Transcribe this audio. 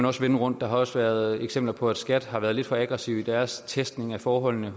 også vende rundt der har også været eksempler på at skat har været lidt for aggressive i deres testning af forholdene